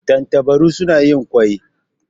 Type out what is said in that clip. Tantabaru suna yin ƙwai.